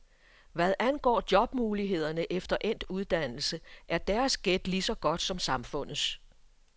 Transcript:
Hvad angår jobmulighederne efter endt uddannelse, er deres gæt lige så godt som samfundets.